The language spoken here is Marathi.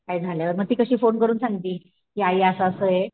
काय झाल्यावर मग ती कशी फोन करून सांगती की आई असं असं आहे.